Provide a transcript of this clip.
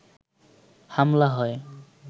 হামলা হয়